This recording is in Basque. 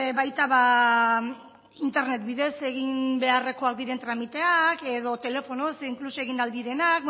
baita internet bidez egin beharrekoak diren tramiteak edo telefonoz inkluso egin ahal direnak